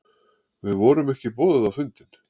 Við vorum ekki boðuð á fundinn